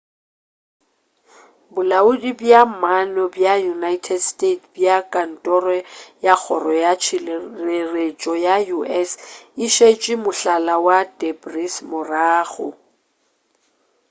bolaodi bja maano bja united states bja kantoro ya kgoro ya tšhireletšo ya u.s. e šetše mohlala wa debris morago